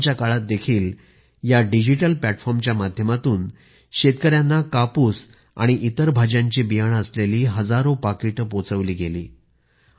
लॉकडाऊनच्या काळात देखील या डिजिटल प्लॅटफॉर्मच्या माध्यमातून शेतकऱ्यांना कापूस आणि इतर भाज्यांची बियाणे असलेली हजारो पाकिटे पोचवली गेली